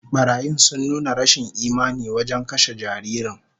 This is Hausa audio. Barayin sun nuna rashin imani wajen kashe jaririn